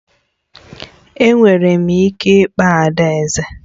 Enwere m ike ịkpọ adaeze?